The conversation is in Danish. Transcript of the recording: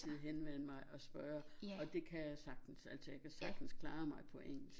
Altid henvende mig og spørge og det kan jeg sagtens altså jeg kan sagtens klare mig på engelsk